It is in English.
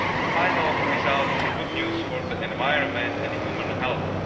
The final result is good news for the environment and human health.